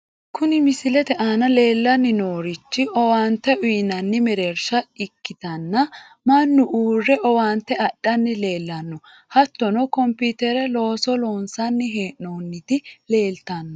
Kuni misilete aana leellanni noorichi owaante uyiinanni mereersha ikkitanna, mannu uurre owaante adhanni leellanno ,hattono kompiitere looso loonsanni hee'noonniti leeltanno.